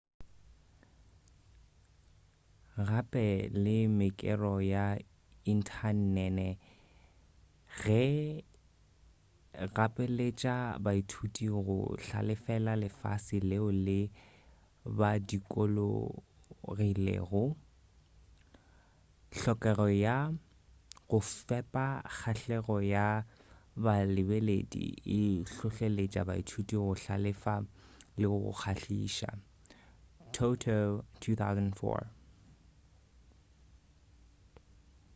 gape le mekero ya inthanene e gapeletša baithuti go hlalefela lefase leo le ba dukulogilego. hlokego ya go fepa kgahlego ya ba lebeledi e hlohleletša baithuti go hlalefa le go kgahliša toto 2004